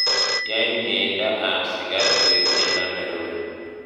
Yai mieindo ab sikat koek tiendo nerube